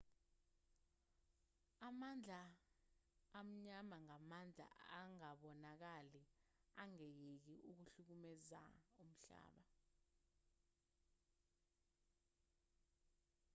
amandla amnyama ngamandla angabonakali angayeki ukuhlukumeza umhlaba